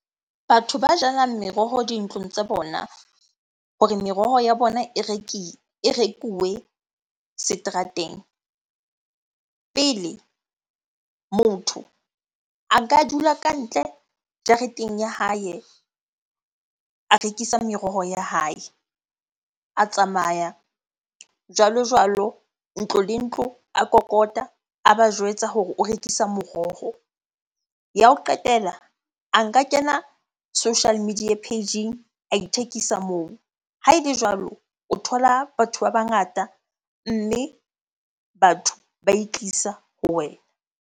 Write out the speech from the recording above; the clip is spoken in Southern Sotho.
Batho ba jalang meroho dintlong tsa bona hore meroho ya bona e rekuwe seterateng. Pele motho a nka dula kantle jareteng ya hae a rekisa meroho ya hae. A tsamaya jwalo-jwalo, ntlo le ntlo, a kokota a ba jwetsa hore o rekisa moroho. Ya ho qetela, a nka kena social media page-eng a ithekisa moo. Ha ele jwalo o thola batho ba bangata mme batho ba itlisa ho wena.